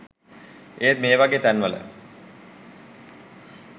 ඒත් මේවගෙ තැන්වල